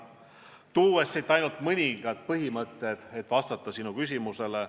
Toon siit välja ainult mõningad põhimõtted, et vastata sinu küsimusele.